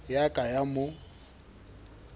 e a ka ya mo